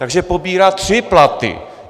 Takže pobírá tři platy.